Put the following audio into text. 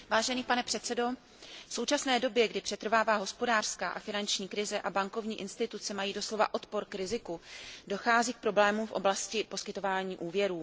Pane předsedající, v současné době, kdy přetrvává hospodářská a finanční krize a bankovní instituce mají doslova odpor k riziku, dochází k problémům v oblasti poskytování úvěrů.